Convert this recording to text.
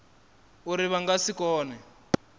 uri vha nga si kone